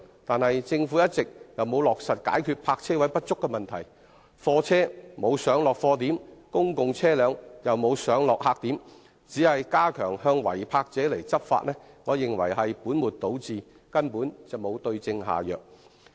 可是，政府一直沒有落實解決泊車位不足的問題，貨車沒有上落貨點，公共車輛也沒有上落客點，單純加強向違泊者執法，我認為是本末倒置的，根本沒有對症下藥。